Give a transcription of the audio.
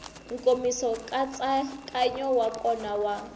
nkomiso nkatsakanyo wa kona wa